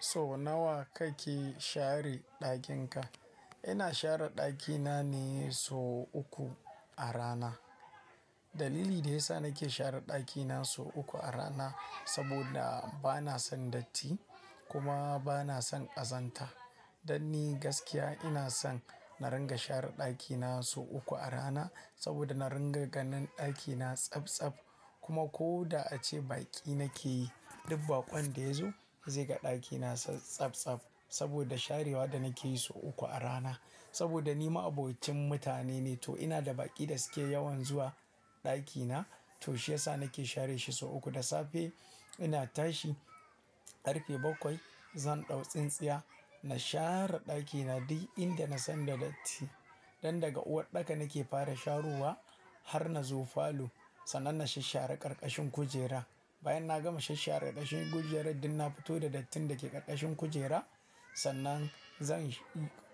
So nawa kake share ɗakin ka? Ina share ɗakina ne so uku a rana. Dalili da ya sa nake share ɗakina so uku a rana saboda bana son datti kuma bana son ƙazanta. Dan ni gaskiya ina son na ringa share ɗakina so uku a rana saboda na ringa ganin ɗakina tsabtsab kuma ko da ace baƙi nake yi, dubbaƙon da yazo zai ga ɗakina tsabtsab saboda sharewa da nake yi so uku a rana. Saboda ni ma'abocin mutane ne to ina da baƙi da suke yawan zuwa ɗakina. To shi ya sa nake share shi so uku. Da safe ina tashi ƙarfe bakwai, zan ɗau tsintsiya na share ɗakina duk inda na san da datti. Don daga uwaɗɗaka nake fara sharowa har na zo falo sannan na shasshare ƙarƙashin kujera. Bayan na gama shasshare ƙarƙashin kujerar, duk na fito da dattin da ke ƙarƙashin kujera sannan zan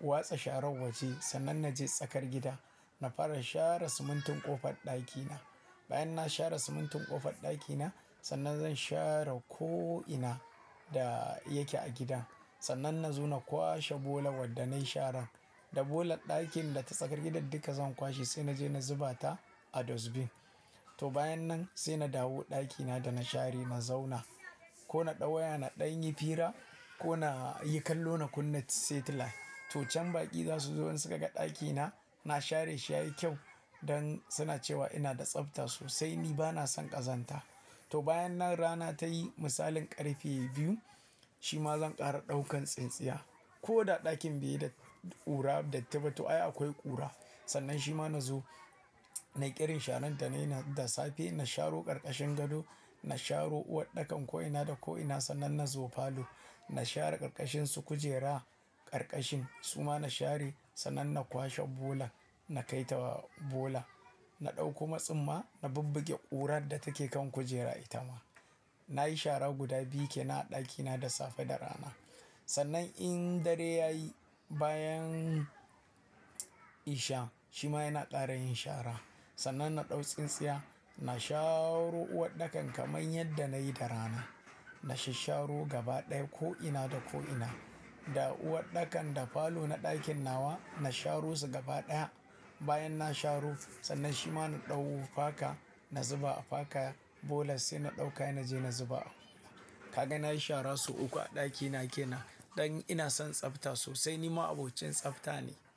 watsa sharon waje sannan na je tsakar gida. Na fara share simintin ƙofar ɗakina. Bayan na share simintin ƙofar ɗakina sannan zan share ko'ina da yake a gida. Sannan na zo na kwashe bolan wadda na yi sharan. Da bolan ɗakin da ta tsakar gidan duka zan kwashe sai na je na zuba ta a dustbin. To bayan nan sai na dawo ɗakina da na share, na zauna. Ko na ɗau waya na ɗan yi fira ko na yi kallo na kunna satellite. To can baƙi za su zo in suka ga ɗakina na share shi ya yi kyau dan suna cewa ina da tsafta sosai. Ni bana son ƙazanta. To bayan nan rana ta yi misalin ƙarfe biyu shima zan ƙara ɗaukan tsintsiya. Ko da ɗakin be da ƙura da ttiba to ai akwai ƙura. Sannan shima na zo, na yi ƙirin sharan ta ne da safe. Na sharo ƙarƙashin gado, na sharo uwaɗɗakan ko'ina da ko'ina sannan na zo falo. Na share ƙarƙashin su kujera, ƙarƙashin suma na share sannan na kwashe bola, na kai ta bola. Na ɗau kuma tsumma na bubbuge ƙurar da take kan kujera ita ma. Na yi shara guda biyu ke nan a ɗakina da safe da rana. Sannan in dare ya yi bayan isha shima yana ƙara yin shara. Sannan na ɗau tsintsiya, na sharo uwaɗɗakan kamar yadda na yi da rana. Na shassharo gaba ɗaya ko'ina da ko'ina. Da uwaɗɗakan da falo na ɗakin nawa na sharo su gaba ɗaya. Bayan na sharo sannan shima na ɗau faka, na zuba a faka bola sai na ɗauka na je na zuba. Kaga na yi shara so uku a ɗakina ke nan don ina son tsafta sosai. Ni ma'abocin tsafta ne.